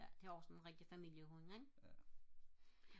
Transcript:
ja det er også en rigtig familiehund ikke